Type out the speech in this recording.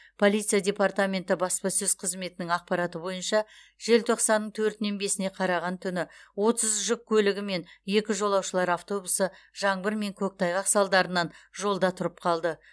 полиция департаменті баспасөз қызметінің ақпараты бойынша желтоқсанның төртінен бесіне қараған түні отыз жүк көлігі мен екі жолаушылар автобусы жаңбыр мен көктайғақ салдарынан жолда тұрып қалды